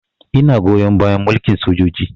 Ina goyon bayan mulkin sojoji